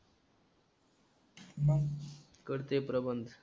मग कर ते प्रबंध.